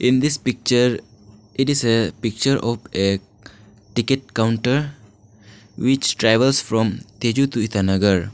in this picture it is a picture of a ticket counter which travels from tezu to itanagar.